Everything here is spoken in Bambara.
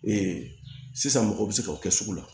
sisan mɔgɔ bɛ se ka o kɛ sugu la